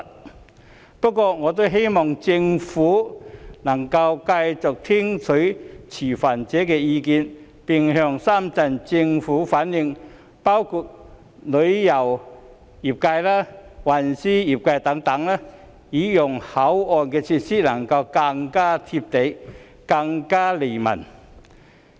儘管如此，我也希望政府能夠繼續聽取持份者的意見，並向深圳政府反映包括旅遊及運輸業界等的意見，讓口岸設施能夠更"貼地"及更利民。